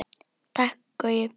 Takk Gaui.